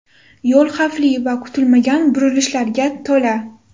Yo‘l xavfli va kutilmagan burilishlarga to‘la.